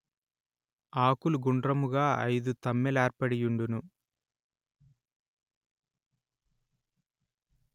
ఆకులు గుండ్రముగా ఐదు తమ్మెలేర్పడియుండును